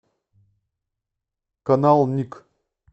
канал ник